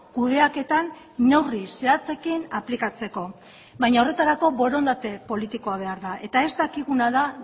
kudeaketan neurri zehatzekin aplikatzeko baina horretarako borondate politikoa behar da eta ez dakiguna da